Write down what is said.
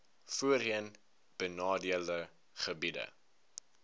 voorheen benadeelde gebiede